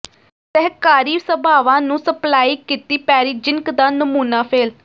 ਸਹਿਕਾਰੀ ਸਭਾਵਾਂ ਨੂੰ ਸਪਲਾਈ ਕੀਤੀ ਪੈਰੀਜ਼ਿੰਕ ਦਾ ਨਮੂਨਾ ਫੇਲ੍ਹ